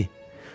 Nəyi?